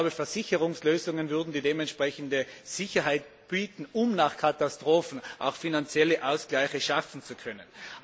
Ich glaube, Versicherungslösungen würden die entsprechende Sicherheit bieten, um nach Katastrophen auch finanzielle Ausgleiche schaffen zu können.